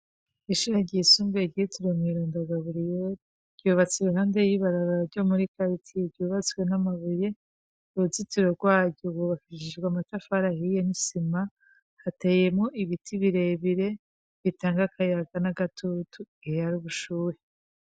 Ishure ryisumbuye ryitiriwe umweranda Gaburiyeri ryubatswe iruhande y'ibarabara ryo muri karitiye. ryubatswe n'amabuye. Uruzitiro rwaryo rwubakishijwe amatafari ahiye n'isima. Hateyemwo ibiti bire bire bitanga akayaga n'agatutu igihe hari ubushuhe.